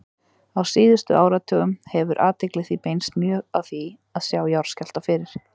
Á síðustu áratugum hefur athygli því beinst mjög að því að sjá jarðskjálfta fyrir.